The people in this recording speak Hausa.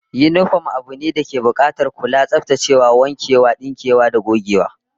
Yinifom abu ne dake bukatar kulawa, tsaftacewa, wankewa, dinkewa da gogewa